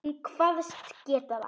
Hún kvaðst geta það.